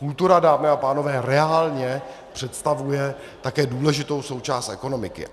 Kultura, dámy a pánové, reálně představuje také důležitou součást ekonomiky.